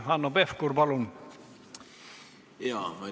Hanno Pevkur, palun!